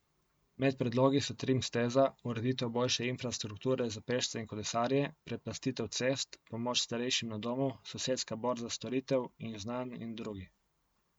Med predlogi so trim steza, ureditev boljše infrastrukture za pešce in kolesarje, preplastitev cest, pomoč starejšim na domu, sosedska borza storitev in znanj in drugi.